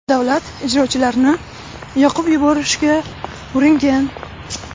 davlat ijrochilarini yoqib yuborishga uringan.